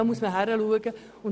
Und hier muss man hinschauen.